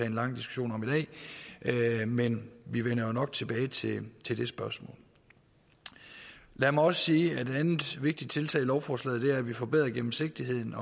en lang diskussion om i dag men vi vender jo nok tilbage til til det spørgsmål lad mig også sige at et andet vigtigt tiltag i lovforslaget er at vi forbedrer gennemsigtigheden